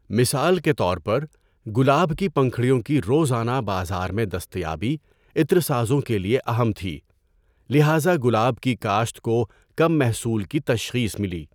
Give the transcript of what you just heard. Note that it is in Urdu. مثال کے طور پر، گلاب کی پنکھڑیوں کی روزانہ بازار میں دستیابی عطر سازوں کے لیے اہم تھی، لہذا گلاب کی کاشت کو کم محصول کی تشخیص ملی۔